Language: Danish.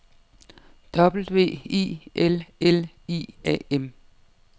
W I L L I A M